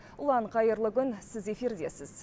ұлан қайырлы күн сіз эфирдесіз